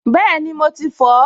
Bẹ́ẹ̀ni, mo ti fọ̀ ọ́